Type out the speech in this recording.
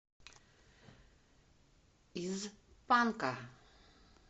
из панка